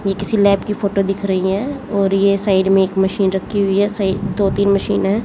ये किसी लैब की फोटो दिख रही है और ये साइड में एक मशीन रखी हुई है सइ दो तीन मशीन है।